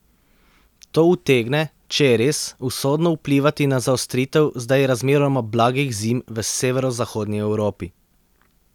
To utegne, če je res, usodno vplivati na zaostritev zdaj razmeroma blagih zim v severozahodni Evropi.